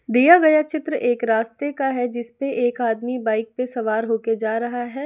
दिया गया चित्र एक रास्ते का है जिस पे एक आदमी बाइक पे सवार हो के जा रहा है।